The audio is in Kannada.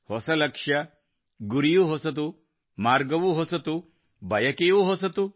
ಹೊಸ ಲಕ್ಷ್ಯ ಗುರಿಯೂ ಹೊಸದು ಮಾರ್ಗವೂ ಹೊಸದು ಬಯಕೆಯೂ ಹೊಸದು